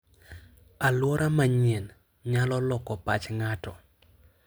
Alwora manyien nyalo loko pach ng'ato.